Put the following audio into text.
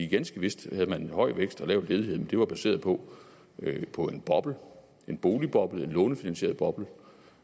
ganske vist havde man en høj vækst og lav ledighed men det var baseret på på en boble en boligboble en lånefinansieret boble